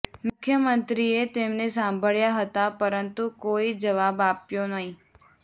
મુખ્યમંત્રીએ તેમને સાંભળ્યા હતા પરંતુ કોઈ જવાબ આપ્યો નહીં